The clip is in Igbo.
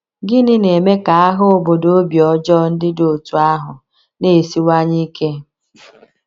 Gịnị na - eme ka agha obodo obi ọjọọ ndị dị otú ahụ na - esiwanye ike?